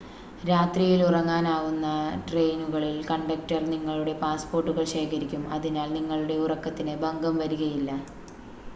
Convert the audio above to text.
രാത്രിയിൽ ഉറങ്ങാനാവുന്ന ട്രെയിനുകളിൽ കണ്ടക്ടർ നിങ്ങളുടെ പാസ്പോർട്ടുകൾ ശേഖരിക്കും അതിനാൽ നിങ്ങളുടെ ഉറക്കത്തിന് ഭംഗം വരികയില്ല